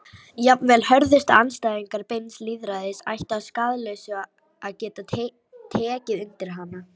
Jafnvel hörðustu andstæðingar beins lýðræðis ættu að skaðlausu að geta tekið undir hana.